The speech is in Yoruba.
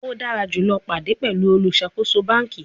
O dara julọ pade pẹlu oluṣakoso banki